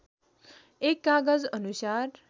१ कागज अनुसार